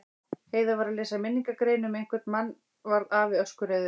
Heiða var að lesa minningargrein um einhvern mann varð afi öskureiður.